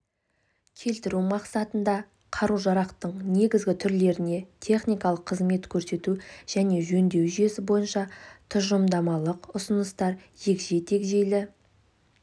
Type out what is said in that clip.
келтіру мақсатында қару-жарақтың негізгі түрлеріне техникалық қызмет көрсету және жөндеу жүйесі бойынша тұжырымдамалық ұсыныстар егжей-тегжейлі